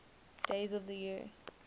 days of the year